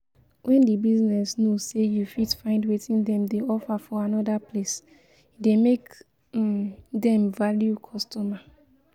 When di business know sey you fit find wetin dem dey offer for anoda place e dey make um dem value customer um